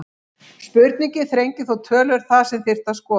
Spurningin þrengir þó töluvert það sem þyrfti að skoða.